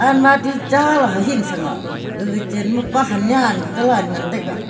almadi chaley hahing shang a gaga chenma pahan nyan kalal ngan taiga.